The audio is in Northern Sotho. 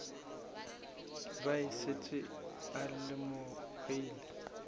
be a šetše a lemogile